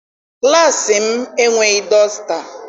Klassi m enweghị dọsta.